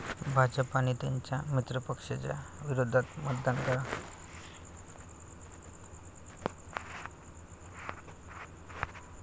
भाजप आणि त्यांच्या मित्रपक्षांच्या विरोधात मतदान करा.